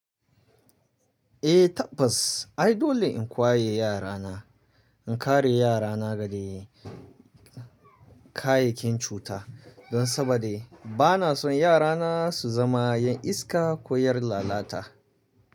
Eh tabbas, ai dole in kwaye yarana. In kare yarana daga kayyakin cuta, don saboda bana son yarana su zama 'yan iska ko 'yar lalata.